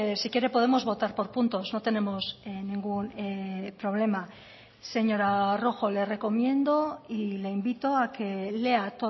si quiere podemos votar por puntos no tenemos ningún problema señora rojo le recomiendo y le invito a que lea